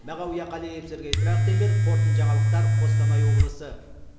мағауия қалиев сергей трахтерберг қорытынды жаңалықтар қостанай облысы